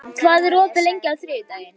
Sunniva, hvað er opið lengi á þriðjudaginn?